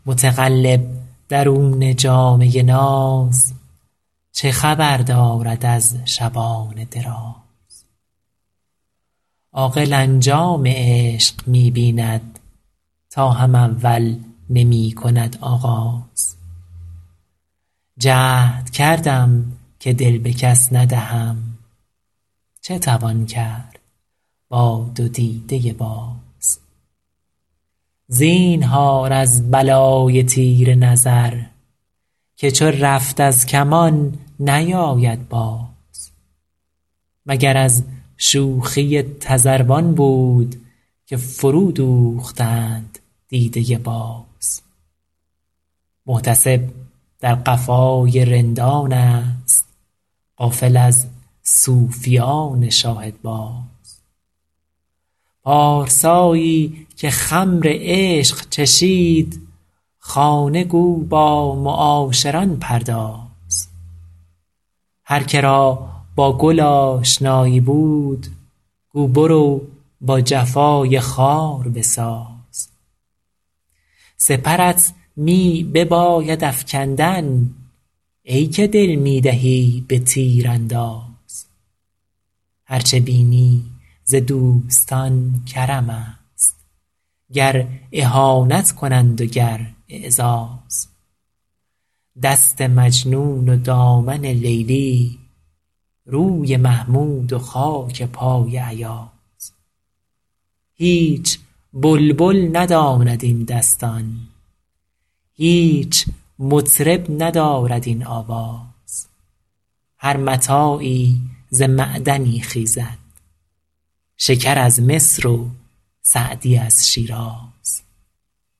متقلب درون جامه ناز چه خبر دارد از شبان دراز عاقل انجام عشق می بیند تا هم اول نمی کند آغاز جهد کردم که دل به کس ندهم چه توان کرد با دو دیده باز زینهار از بلای تیر نظر که چو رفت از کمان نیاید باز مگر از شوخی تذروان بود که فرودوختند دیده باز محتسب در قفای رندانست غافل از صوفیان شاهدباز پارسایی که خمر عشق چشید خانه گو با معاشران پرداز هر که را با گل آشنایی بود گو برو با جفای خار بساز سپرت می بباید افکندن ای که دل می دهی به تیرانداز هر چه بینی ز دوستان کرمست گر اهانت کنند و گر اعزاز دست مجنون و دامن لیلی روی محمود و خاک پای ایاز هیچ بلبل نداند این دستان هیچ مطرب ندارد این آواز هر متاعی ز معدنی خیزد شکر از مصر و سعدی از شیراز